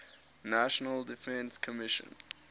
national defense commission